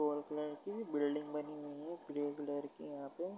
कोल colour की building बनी हुई है क्ले की यहाँ पे।